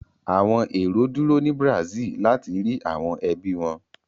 Àwọn èrò dúró ni Brazil láti rí àwọn ẹbí wọ.